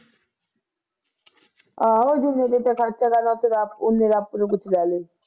ਆਹੋ ਜਿੰਨੇ ਦੇ ਮੇਰੇ ਤੇ ਖਰਚਾ ਕਰਨਾ ਓਨੇ ਦਾ ਆਪਣਾ